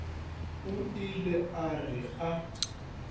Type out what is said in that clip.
o ile a re a